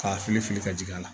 K'a fili fili ka jigin a la